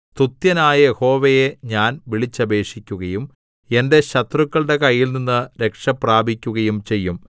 സ്തുത്യനായ യഹോവയെ ഞാൻ വിളിച്ചപേക്ഷിക്കുകയും എന്റെ ശത്രുക്കളുടെ കയ്യിൽനിന്ന് രക്ഷപ്രാപിക്കുകയും ചെയ്യും